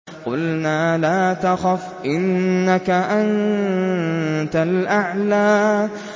قُلْنَا لَا تَخَفْ إِنَّكَ أَنتَ الْأَعْلَىٰ